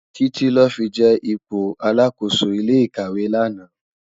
Titi lò fi je ipó àlákósó ilé ikáwé làná